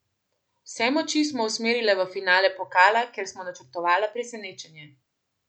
Vse moči smo usmerile v finale pokala, kjer smo načrtovale presenečenje.